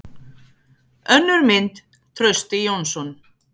Önnur mynd: Trausti Jónsson.